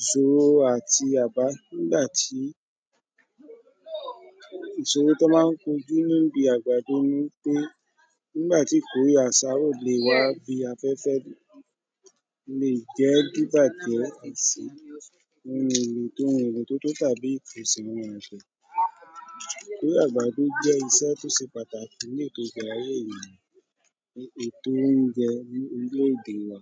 ìṣòro àti àbá nígbà tí ìṣòro tọ́ má ń kojú ní ibi àgbàdo ni wípé nígbà tí ìkóre àsá ó le wá bí afẹ́fẹ́ le e jẹ́ kí bàjẹ́ ó kù si ìkóre àgbàdo jẹ́ iṣẹ́ tó ṣe pàtàkì ní èto ìbẹ̀rẹ̀ ayé mi ni ètò óunjẹ ní orílèdè wa